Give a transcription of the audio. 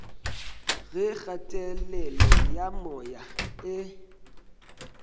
ge kgatelelo ya moya e